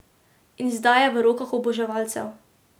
In zdaj je v rokah oboževalcev.